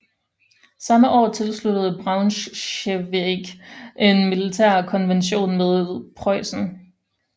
Samme år afsluttede Braunschweig en militærkonvention med Preussen